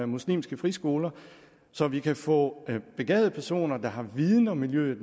muslimske friskoler så vi kan få begavede personer der har mere viden om miljøet